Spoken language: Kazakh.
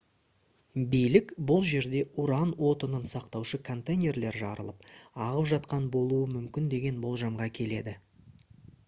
билік бұл жерде уран отынын сақтаушы контейнерлер жарылып ағып жатқан болуы мүмкін деген болжамға келеді